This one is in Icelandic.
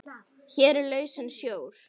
Hér er lausnin sjór.